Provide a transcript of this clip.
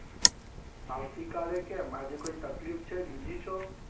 આવતીકાલે કેમ આજે કોઈ તકલીફ છે? busy છો?